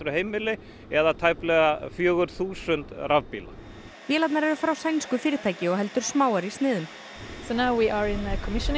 heimili eða tæplega fjögur þúsund rafbíla vélarnar eru frá sænsku fyrirtæki og heldur smáar í sniðum virkjunin